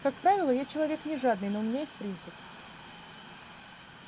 как правило я человек не жадный но у меня есть принцип